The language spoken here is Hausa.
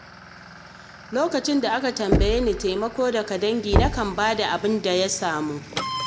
Lokacin da aka tambaye ni taimako daga dangi, nakan bayar da abin da ya samu.